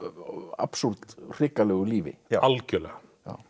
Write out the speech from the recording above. absúrd hrikalegu lífi algjörlega